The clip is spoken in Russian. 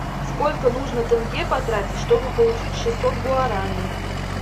сколько нужно тенге потратить чтобы получить шестьсот гуарани